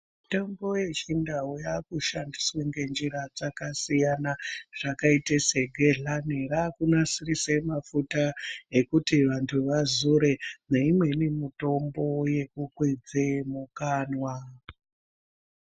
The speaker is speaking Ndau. Mitombo yechindau yakushandiswa ngenjira dzakasiyana zvakaite segedhlani rakunasirise mafuta ekuti vantu vazore neimweni mitombo yekukwidze mukanwa.